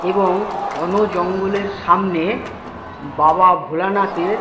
এবং ঘন জঙ্গলের সামনে বাবা ভোলানাথের --